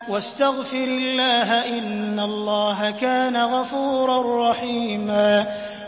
وَاسْتَغْفِرِ اللَّهَ ۖ إِنَّ اللَّهَ كَانَ غَفُورًا رَّحِيمًا